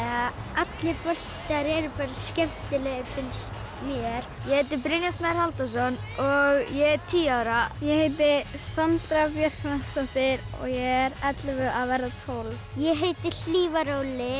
allir boltar eru skemmtilegir finnst mér ég heiti Brynjar Snær Halldórsson og ég er tíu ára ég heiti Sandra Björk Hrafnsdóttir og ég er ellefu að verða tólf ég heiti Hlífar Óli